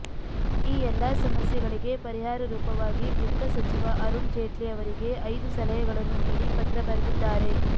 ಈ ಎಲ್ಲಾ ಸಮಸ್ಯೆಗಳಿಗೆ ಪರಿಹಾರ ರೂಪವಾಗಿ ವಿತ್ತ ಸಚಿವ ಅರುಣ್ ಜೇಟ್ಲಿ ಅವರಿಗೆ ಐದು ಸಲಹೆಗಳನ್ನು ನೀಡಿ ಪತ್ರ ಬರೆದಿದ್ದಾರೆ